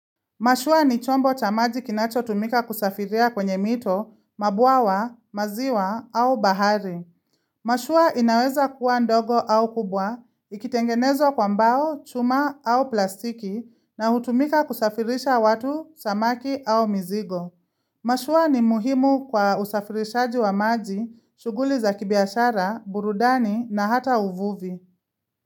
Mashua ni chombo cha maji kinacho tumika kusafiria kwenye mito, mabwawa, maziwa au bahari. Mashua inaweza kuwa ndogo au kubwa, ikitengenezwa kwa mbao, chuma au plastiki na hutumika kusafirisha watu, samaki au mizigo. Mashua ni muhimu kwa usafirishaji wa maji, shuguli za kibiashara, burudani na hata uvuvi.